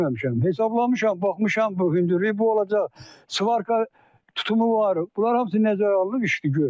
Hesablamışam, baxmışam, bu hündürlük bu olacaq, svarka tutumu var, bunlar hamısı nəzərə alınıb, iş də görülüb.